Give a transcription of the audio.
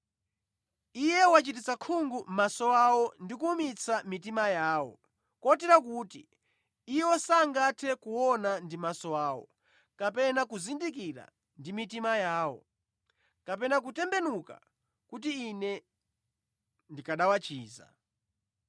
“Iye wachititsa khungu maso awo ndi kuwumitsa mitima yawo, kotero kuti iwo sangathe kuona ndi maso awo, kapena kuzindikira ndi mitima yawo, kapena kutembenuka kuti Ine ndikanawachiza.”